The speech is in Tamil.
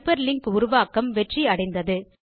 ஹைப்பர் லிங்க் உருவாக்கம் வெற்றி அடைந்தது